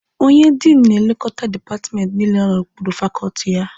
Onye Diinụ na-elekota dipatmenti niile nọ n'okpuru fakọọtị ya